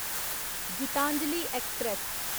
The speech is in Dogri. गीतांजलि ऐक्सप्रैस